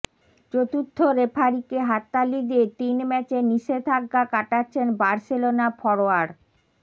চতুর্থ রেফারিকে হাততালি দিয়ে তিন ম্যাচের নিষেধাজ্ঞা কাটাচ্ছেন বার্সেলোনা ফরোয়ার্ড